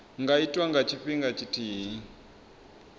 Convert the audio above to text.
nga itwa nga tshifhinga tshithihi